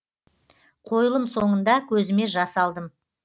қойылым соңында көзіме жас алдым